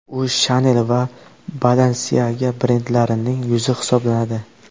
U Chanel va Balenciaga brendlarining yuzi hisoblanadi.